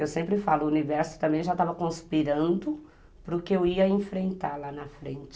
Eu sempre falo, o universo também já estava conspirando para o que eu ia enfrentar lá na frente.